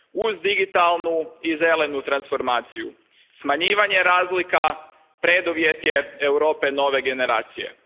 Uz digitalnu i zelenu transformaciju smanjivanje razlika preduvjet je Europe nove generacije.